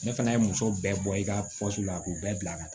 Ne fana ye muso bɛɛ bɔ i ka la k'u bɛɛ bila ka taa